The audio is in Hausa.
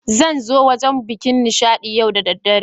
Zain'zo wurin bikin Nishadi yau da daddare.